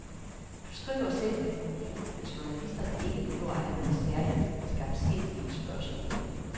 Du skriver selv i kronikken, at journalisterne ikke behøver at have nogle særligt skarpsindige spørgsmål.